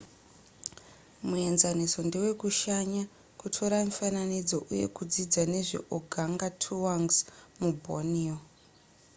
muenzaniso ndewekushanya kutora mifananidzo uye kudzidza nezveorgangatuangs muborneo